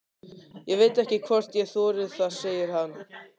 Ég veit ekki hvort ég þori það, segir hann.